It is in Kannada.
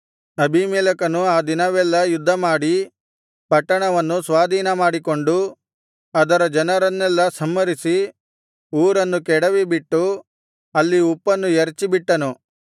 ಅಬೀಮೆಲೆಕನು ಆ ದಿನವೆಲ್ಲಾ ಯುದ್ಧಮಾಡಿ ಪಟ್ಟಣವನ್ನು ಸ್ವಾಧೀನಮಾಡಿಕೊಂಡು ಅದರ ಜನರನ್ನೆಲ್ಲಾ ಸಂಹರಿಸಿ ಊರನ್ನು ಕೆಡವಿಬಿಟ್ಟು ಅಲ್ಲಿ ಉಪ್ಪನ್ನು ಎರಚಿಬಿಟ್ಟನು